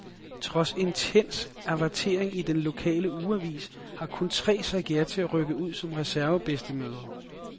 Trods intens avertering i den lokale ugeavis har kun tre sagt ja til at rykke ud som reservebedstemødre.